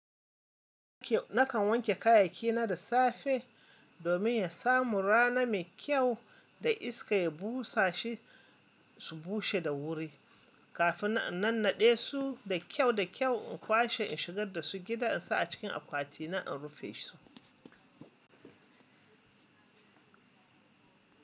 Nakan wanke kayayyaki na da safe domin ya samu rana mai kyau da iska ya busa shi su bushe da wuri kafin in nannaɗe su da kyau da kyau in kwashe in shigar da su gida in sa a cikin akwati na in rufe su.